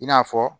I n'a fɔ